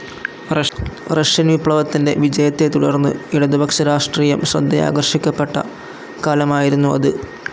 Russian വിപ്ലവത്തിൻ്റെ വിജയത്തെത്തുടർന്നു ഇടതുപക്ഷ രാഷ്ട്രീയം ശ്രദ്ധയാകർഷിക്കപ്പെട്ട കാലമായിരുന്നു അത്.